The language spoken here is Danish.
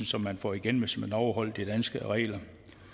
som man får igen hvis man overholder de danske regler